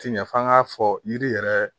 Ti ɲɛ f'an ga fɔ yiri yɛrɛ